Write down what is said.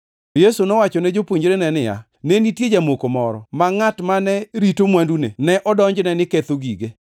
Yesu nowachone jopuonjrene niya, “Ne nitie jamoko moro, ma ngʼat mane rito mwandune ne odonjne ni ketho gige.